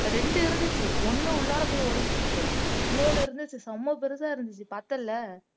ரெண்டு இருந்துச்சு ஒண்ணு உள்ளாற போய் ஒளிஞ்சுகிட்டு இன்னொன்னு இருந்துச்சு செம பெருசா இருந்துச்சு பார்த்த இல்ல